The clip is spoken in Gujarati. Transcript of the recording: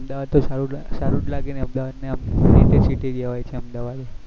અમદાવાદ તો સારું અમદાવાદ તો સારું જ લાગેન જેવા હોય છે